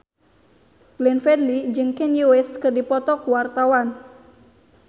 Glenn Fredly jeung Kanye West keur dipoto ku wartawan